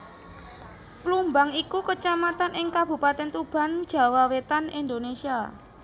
Plumbang iku Kacamatan ing Kabupatèn Tuban Jawa Wétan Indonésia